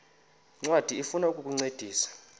ncwadi ifuna ukukuncedisa